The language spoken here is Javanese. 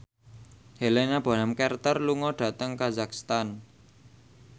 Helena Bonham Carter lunga dhateng kazakhstan